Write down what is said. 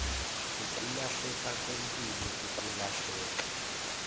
ukulahleka kwempilo ukulahleka